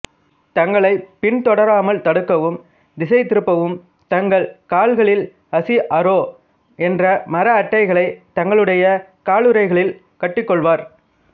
தங்களை பின் தொடராமல் தடுக்கவும் திடைதிருப்பவும் தங்கள் கால்களில் அஷிஅரோ என்ற மர அட்டைகளை தங்களுடைய காலுறைகளில் கட்டுக்கொள்வர்